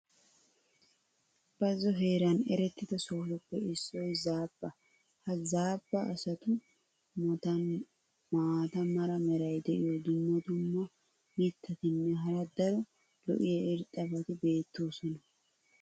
bazzo heeran erettida sohotuppe issoy zaabba. ha zaabba asatu matan maata mala meray diyo dumma dumma mitatinne hara daro lo'iya irxxabati beetoosona.